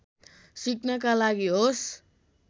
सिक्नका लागि होस्